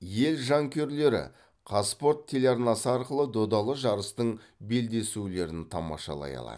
ел жанкүйерлері қазспорт телеарнасы арқылы додалы жарыстың белдесулерін тамашалай алады